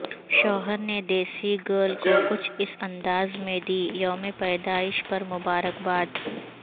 شوہر نے دیسی گرل کو کچھ اس انداز میں دی یوم پیدائش پر مبارکباد